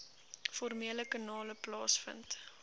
formele kanale plaasvind